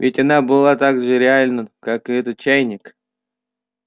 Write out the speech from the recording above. ведь она была так же реальна как этот чайник